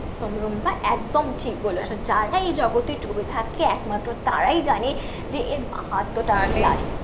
একদম রুম্পা একদম ঠিক বলেছো, যারা এই জগতে ডুবে থাকে একমাত্র তারাই জানে যে এর মাহাত্মটা কি?